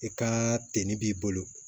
I ka tennin b'i bolo